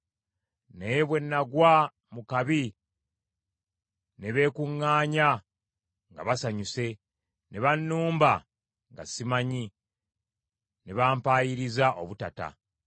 Naye bwe nagwa mu kabi ne beekuŋŋaanya nga basanyuse; ne bannumba nga simanyi, ne bampayiriza obutata.